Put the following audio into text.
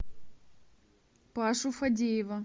пашу фадеева